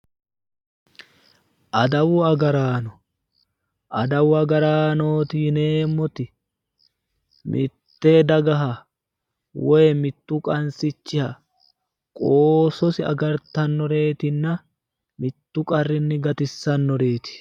Adawu agarranno, adawu agarraanoti yineemmoti mite dagaha woyi mitu qansichiha qoososi agartanoreetinna mitu qarrinni gatisanoreti.